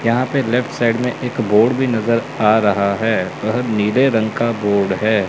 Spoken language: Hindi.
यहां पे लेफ्ट साइड में एक बोर्ड भी नजर आ रहा हैं वह नीले रंग का बोर्ड है।